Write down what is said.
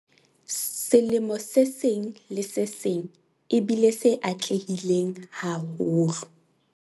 Selemo se seng le se seng e bile se atlehileng haholo.